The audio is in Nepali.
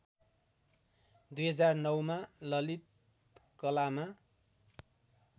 २००९ मा ललित कलामा